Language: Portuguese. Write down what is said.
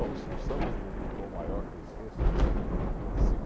O os sambas do do tom maior que eu esqueço, porque também não consigo.